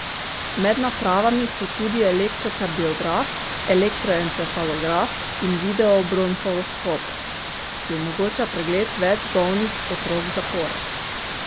Med napravami so tudi elektrokardiograf, elektroencefalograf in videobronhoskop, ki omogoča pregled več bolnih otrok zapored.